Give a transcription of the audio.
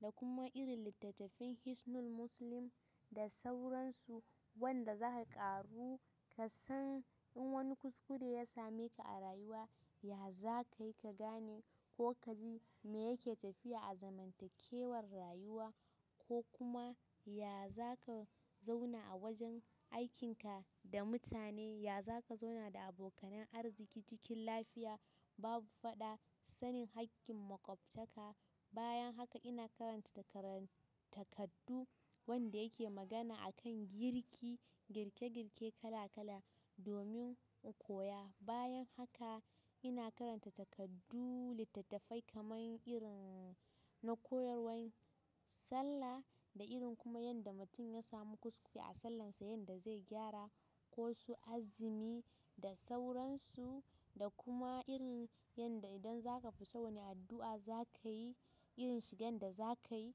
da kuma irin littattafin Hisnul Muslim da sauransu wanda zaka ƙaru ka san in wani kuskure ya same ka a rayuwa ya za ka yi ka gane ko ka ji me yake tafiya a zamantakewar rayuwa ko kuma ya za ka zauna a wajen aikinka da mutane, ya za ka zauna da abokanan arziki cikin lafiya babu faɗa, sanin haƙƙin maƙwabta ka. Bayan haka ina karanta takardu wanda yake magana a kan girki, girke girke kala kala domin in koya. Bayan haka ina karanta takardu/littattafai kamar irin na koyarwan sallah da irin kuma yanda mutum ya samu kuskure a sallansa yanda zai gyara ko su azumi da sauransu da kuma irin yanda idan zaka fita wani addua zakayi, irin shigan da zakayi.